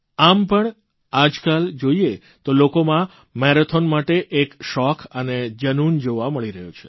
આમ પણ આજકાલ જોઇએ તો લોકોમાં મેરાથોન માટે એક શોખ અને જનૂન જોવા મળી રહ્યું છે